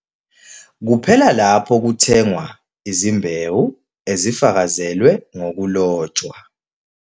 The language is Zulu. Kuphela lapho kuthengwa izimbewu ezifakazelwe ngokulotshwa.